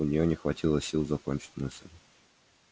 у нее не хватило сил закончить мысль